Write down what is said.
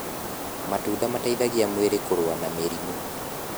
matunda mateithagia mwĩrĩ kũrũa na mĩrimũ